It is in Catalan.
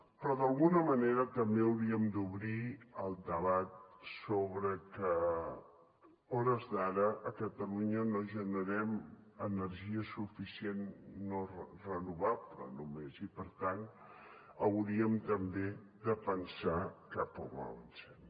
però d’alguna manera també hauríem d’obrir el debat sobre que a hores d’ara a catalunya no generem energia suficient no renovable només i per tant hauríem també de pensar cap a on avancem